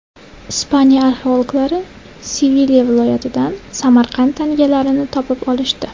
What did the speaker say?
Ispaniya arxeologlari Sevilya viloyatidan Samarqand tangalarini topib olishdi.